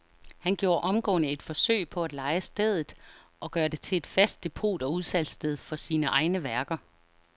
Han gjorde omgående et forsøg på at leje stedet og gøre det til fast depot og udsalgssted for sine egne værker.